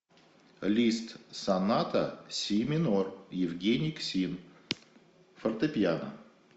лист соната си минор евгений ксин фортепиано